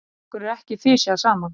Okkur er ekki fisjað saman!